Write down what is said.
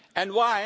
years